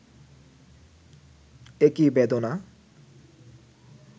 এ কি বেদনা